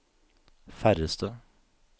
færreste